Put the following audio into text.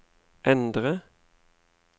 endre